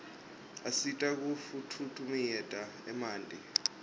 asita kufutfumietia emanti